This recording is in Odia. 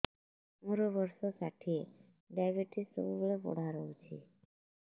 ମୋର ବର୍ଷ ଷାଠିଏ ଡାଏବେଟିସ ସବୁବେଳ ବଢ଼ା ରହୁଛି